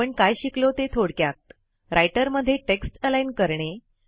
आपण काय शिकलो ते थोडक्यात160 रायटर मध्ये टेक्स्ट अलाईन करणे